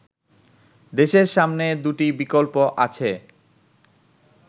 দেশের সামনে দুটি বিকল্প আছে